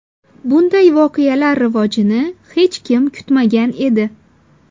Bunday voqealar rivojini hech kim kutmagan edi.